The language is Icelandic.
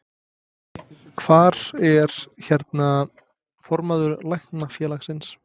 Hvar er, hérna, formaður Læknafélagsins?